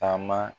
Taama